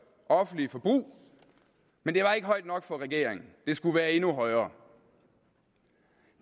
offentlige forbrug men det var ikke højt nok for regeringen det skulle være endnu højere